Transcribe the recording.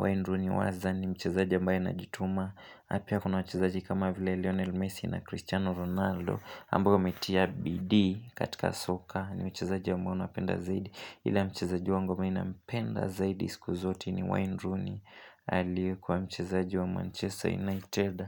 Wayne Rooney waza ni mchezaji ambae ana jituma. Napia kuna mwachezaji kama vile Lionel Messi na Cristiano Ronaldo. Ambao wametia bidii katika soka ni wachezaji ambao napenda zaidi. Ila mchezaji wangu me nampenda zaidi siku zote ni Wayne Rooney. Alikuwa mchezaji wa Manchester United.